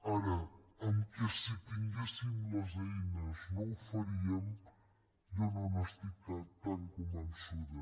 ara amb això que si tinguéssim les eines no ho faríem jo no n’estic tan convençuda